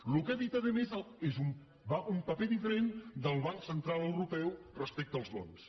el que ha dit a més és un paper diferent del banc central europeu respecte als bons